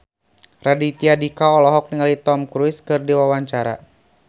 Raditya Dika olohok ningali Tom Cruise keur diwawancara